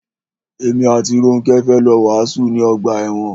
Èmi àti Rónkẹ́ fẹ́ lọ wàásù ní ọgbà ẹ̀wọn.